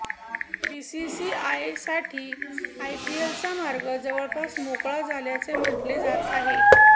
बीसीसीआयसाठी आयपीएलचा मार्ग जवळपास मोकळा झाल्याचे म्हटले जात आहे